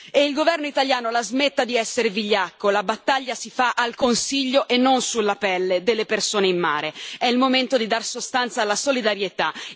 E il governo italiano la smetta di essere vigliacco la battaglia si fa al Consiglio e non sulla pelle delle persone in mare. È il momento di dare sostanza alla solidarietà.